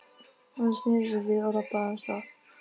Hún sneri sér við og labbaði af stað.